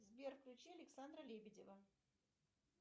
сбер включи александра лебедева